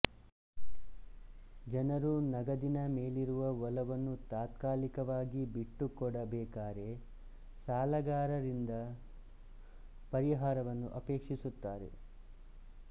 ಜನರು ನಗದಿನ ಮೇಲಿರುವ ಒಲವನ್ನು ತಾತ್ಕಾಲಿಕವಾಗಿ ಬಿಟ್ಟುಕೊಡಬೇಕಾರೆ ಸಾಲಗಾರರಿಂದ ಪರಿಹಾರವನ್ನು ಅಪೇಕ್ಷಿಸುತ್ತಾರೆ